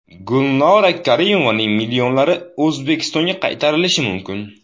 Gulnora Karimovaning millionlari O‘zbekistonga qaytarilishi mumkin.